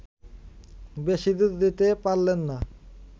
বেশিদূর যেতে পারলেন না